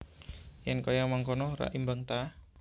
Yen kaya mangkono rak imbang ta